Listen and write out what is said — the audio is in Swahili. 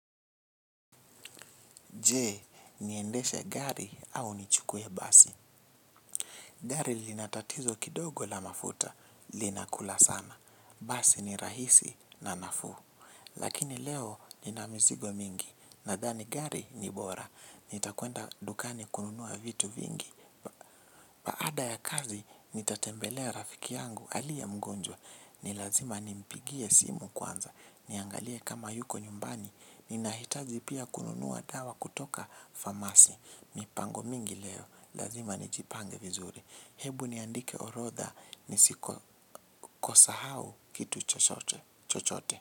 Jee, niendeshe gari au nichukue basi. Gari lina tatizo kidogo la mafuta, linakula sana. Basi ni rahisi na nafuu. Lakini leo nina mizigo mingi, nadhani gari ni bora. Nitakwenda dukani kununua vitu vingi. Ada ya kazi, nitatembelea rafiki yangu aliyemgonjwa. Ni lazima nimpigie simu kwanza. Niangalie kama yuko nyumbani. Ninahitaji pia kununua dawa kutoka famasi. Mipango mingi leo, lazima nijipange vizuri. Hebu niandike orotha, nisiko kosahau kitu chochoche, chochote.